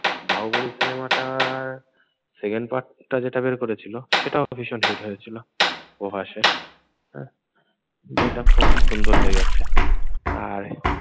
বাহুবলি সিনেমাটার second part টা যেটা বের করেছিল সেটাও ভীষণ হিট হয়েছিল। প্রভাসের হ্যাঁ? বইটা খুব সুন্দর লেগেছে আর